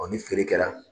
Ɔ ni feere kɛra